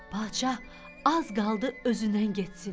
Padşah az qaldı özündən getsin.